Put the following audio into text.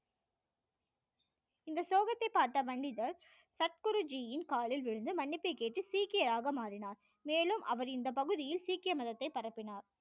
முகத்தை பார்த்த பண்டிதர் சர் குருஜி யின் காலில் விழுந்து மன்னிப்பு கேட்டு சீக்கியாரக மாறினார் மேலும் அவர் இந்த பகுதியில் சீக்கிய மதத்தை பரப்பினார்